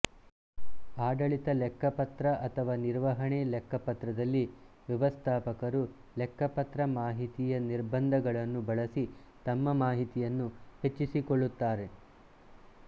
ಆಡಳಿತ ಲೆಕ್ಕಪತ್ರ ಅಥವಾ ನಿರ್ವಹಣೆ ಲೆಕ್ಕಪತ್ರದಲ್ಲಿ ವ್ಯವಸ್ಥಾಪಕರು ಲೆಕ್ಕಪತ್ರ ಮಾಹಿತಿಯ ನಿಬಂಧಗಳನ್ನು ಬಳಸಿ ತಮ್ಮ ಮಾಹಿತಿಯನ್ನು ಹೆಚ್ಚಿಸಿಕೊಳ್ಳುತ್ತಾರೆ